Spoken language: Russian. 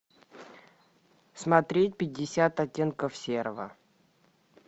смотреть пятьдесят оттенков серого